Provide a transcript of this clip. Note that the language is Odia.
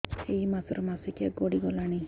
ଏଇ ମାସ ର ମାସିକିଆ ଗଡି ଗଲାଣି